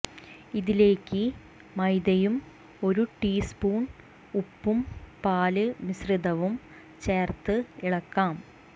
ഇതിലേക്ക്് മൈദയും ഒരു ടീസ്പൂണ് ഉപ്പും പാല് മിശ്രിതവും ചേര്ത്ത് ഇളക്കാം